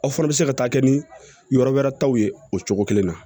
Aw fana bɛ se ka taa kɛ ni yɔrɔ wɛrɛ taw ye o cogo kelen na